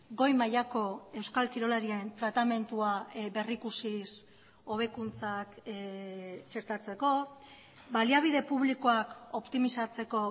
goi mailako euskal kirolarien tratamendua berrikusiz hobekuntzak txertatzeko baliabide publikoak optimizatzeko